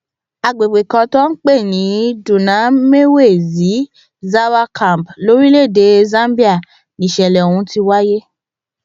àgbègbè kan tí wọn ń pè ní dunamwezi zàwà camp lórílẹ èdè zambia nìṣẹlẹ ọhún ti wáyé